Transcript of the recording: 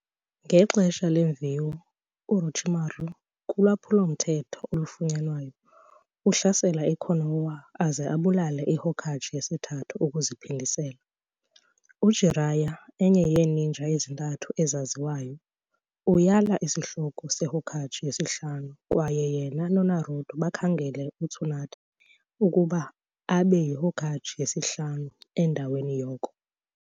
Ngexesha leemviwo, uOrochimaru, ulwaphulo-mthetho olufunwayo, uhlasela i-Konoha aze abulale i-Hokage yesiThathu ukuziphindezela. UJiraiya, enye yeeninja ezintathu ezaziwayo, uyala isihloko seHokage yesihlanu kwaye yena noNaruto bakhangele uTsunade ukuba abe yiHokage yesihlanu endaweni yoko.